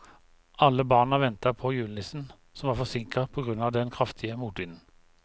Alle barna ventet på julenissen, som var forsinket på grunn av den kraftige motvinden.